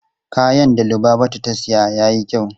Kayan da Lubabatu ta siya yayi kyau.